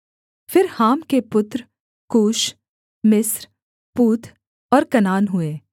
फिर हाम के पुत्र कूश मिस्र पूत और कनान हुए